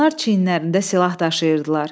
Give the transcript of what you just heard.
Bunlar çiyinlərində silah daşıyırdılar.